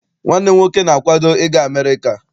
Nwanne m nwoke na-akwado I ga America.